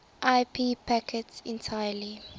ip packets entirely